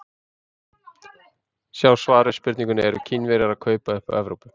Sjá svar við spurningunni Eru Kínverjar að kaupa upp Evrópu?